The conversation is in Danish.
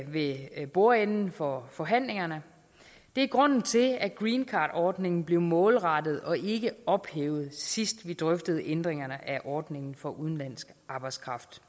ved bordenden for forhandlingerne og det er grunden til at greencardordningen blev målrettet og ikke ophævet sidst vi drøftede ændringerne af ordningen for udenlandsk arbejdskraft